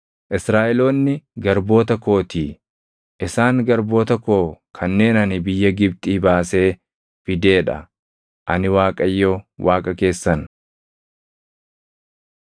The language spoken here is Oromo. Israaʼeloonni garboota kootii. Isaan garboota koo kanneen ani biyya Gibxii baasee fidee dha. Ani Waaqayyo Waaqa keessan.